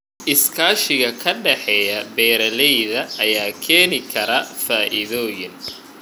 Iskaashiga ka dhexeeya beeralayda ayaa keeni kara faa'iidooyin.